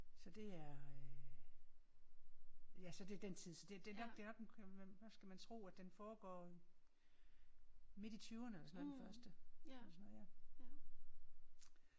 Så det er øh ja så det den den tid så det nok det nok en hvad skal man tro at den foregår i midt i tyverne eller sådan et eller andet den første eller sådan noget ja